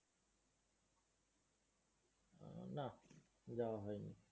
না, যাওয়া হইনি।